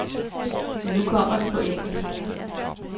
Men nu kommer den på engelsk.